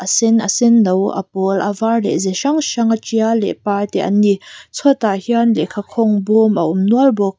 sen a senno a pawl a var leh ze hrang hranga tial leh par te an ni chhuatah hian lehkha khawng bawm a awm nual bawk.